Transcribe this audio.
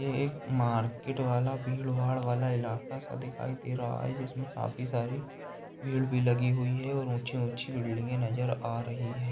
ये एक मार्केट वाला भीड़-भाड़ वाला इलाका सा दिखाई दे रहा है जिसमें काफी सारी भीड़ भी लगी हुई है और ऊँची-ऊँची बिल्डिंगें नज़र आ रही हैं।